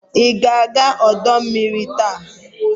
Ị ga-aga ọdọ mmiri taa?